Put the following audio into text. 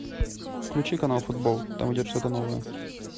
включи канал футбол там идет что то новое